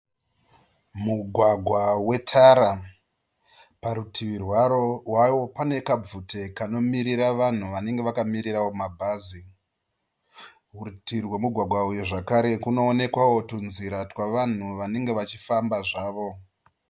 Mugwagwa wetara. Parutivi rwawo pane kabvute kanomirira vanhu vanenge vakamirirawo mabhazi. Kurutivi rwemugwagwa uyu zvakare kunoonekwawo tunzira twavanhu vanenge vachifamba zvavo.